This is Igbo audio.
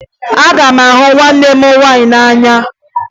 Aga m ahụ nwanne m nwaanyị n'anya